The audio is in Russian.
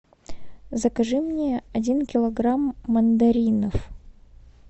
закажи мне один килограмм мандаринов